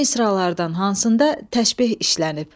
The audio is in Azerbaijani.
Bu misralardan hansında təşbeh işlənib?